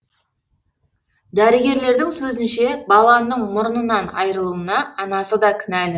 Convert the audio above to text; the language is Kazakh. дәрігерлердің сөзінше баланың мұрнынан айырылуына анасы да кінәлі